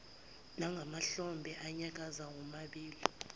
nangamahlombe anyakaza womabili